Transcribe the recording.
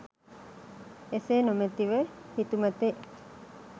එසේ නොමැති ව හිතුමතේ